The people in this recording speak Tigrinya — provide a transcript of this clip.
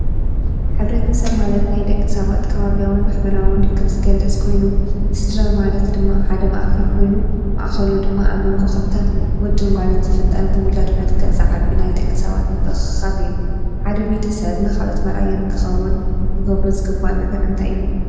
ሕብረተሰብ ማለት ናይ ደቂ ሰባት ከባብያውን ማሕበራውን ርክብ ዝገልፅ ኮይኑ ስድራ ማለት ድማ ሓደ ማእኸል ኮይኑ ማኣኸሉ ድማ ኣብ መንጎ ኸልተ ወድን ጓልን ዝፍጠር ብውላድ መልከዕ ዝዓቢ ናይ ደቂ ሰባት ምትኽኻብ እዩ፡፡ ሓደ ቤተ ሰብ ኻልኦት መርኣያ ንክኸውን ክገብሩ ዝግባእ ነገር እንተይ እዩ?